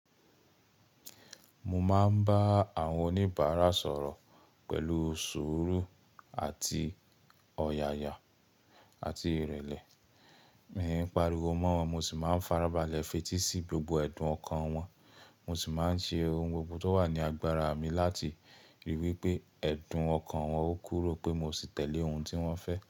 Mo máa ń bá àwọn o ní ìbárà sọ̀rọ̀ pẹ̀lú sùúrù àti ọ̀yàyà àti ìrẹ̀lẹ̀. Miìí pariwo mọ́ wọn, mo sì máa ń farabalẹ̀ fetí sí gbogbo ẹ̀dùn ọkàn wọn. Mo sì máa ń ṣe ohun gbogbo tó wà ní agbára mi láti ríi wí pé ẹ̀dùn ọkàn wọn ó kúrò pé mo sì tẹ̀lé ohun tí wọ́n fẹ́.